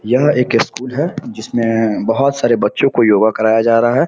यह एक स्कूल है जिसमें बहुत सारे बच्चों को योगा कराया जा रहा है।